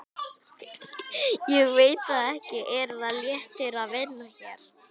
Ég veit það ekki Er það léttir að vinna hér?